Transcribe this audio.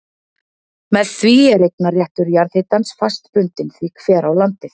Með því er eignarréttur jarðhitans fast bundinn því hver á landið.